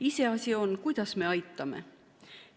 Iseasi on, kuidas me aitame.